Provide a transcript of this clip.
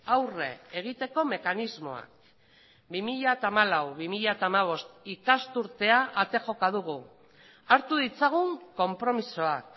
aurre egiteko mekanismoa bi mila hamalau bi mila hamabost ikasturtea ate joka dugu hartu ditzagun konpromisoak